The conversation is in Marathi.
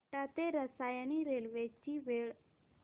आपटा ते रसायनी रेल्वे ची वेळ